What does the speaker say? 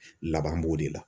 Laban b'o de la.